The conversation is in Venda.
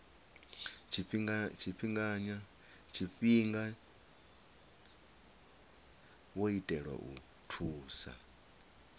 tshifhinganya wo itelwa u thusa